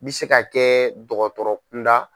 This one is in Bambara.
N bɛ se ka kɛ dɔgɔtɔrɔ kunda.